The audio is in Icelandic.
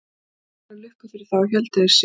Til allrar lukku fyrir þá héldu þeir sig við hann.